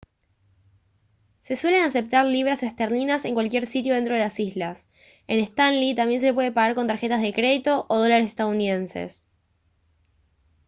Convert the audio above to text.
se suelen aceptar libras esterlinas en cualquier sitio dentro de las islas en stanley también se puede pagar con tarjetas de crédito o dólares estadounidenses